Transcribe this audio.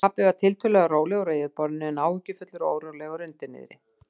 Pabbi var tiltölulega rólegur á yfirborðinu en áhyggjufullur og órólegur undir niðri.